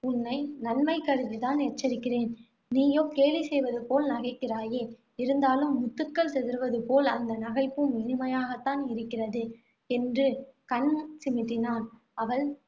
உன்னை நன்மை கருதி தான் எச்சரிக்கிறேன். நீயோ கேலி செய்வது போல நகைக்கிறாயே இருந்தாலும், முத்துகள் சிதறுவது போல், அந்த நகைப்பும் இனிமையாகத்தான் இருக்கிறது என்று கண் சிமிட்டினான். அவள்